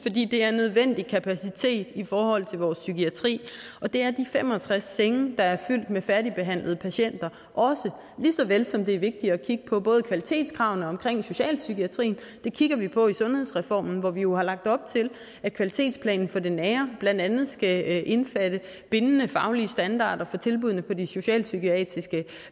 det er nødvendig kapacitet i forhold til vores psykiatri og det er de fem og tres senge der er fyldt med færdigbehandlede patienter også lige såvel som det er vigtigt at kigge på kvalitetskravene i socialpsykiatrien det kigger vi på i sundhedsreformen hvor vi jo har lagt op til at kvalitetsplanen for det nære blandt andet skal indbefatte bindende faglige standarder for tilbuddene på de socialpsykiatriske